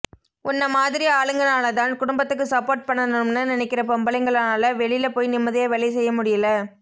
உன்ன மாதிரி ஆளுங்கனால தான் குடும்பத்துக்கு சப்போர்ட் பண்ணனும்ன்னு நினைக்கிற பொம்பளைங்கனால வெளில போய் நிம்மதியா வேலை செய்ய முடியல